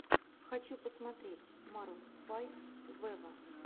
хочу посмотреть марун файв вево